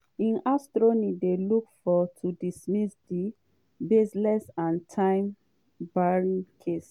im attorneys dey look to dismiss di "baseless and time-barred" case.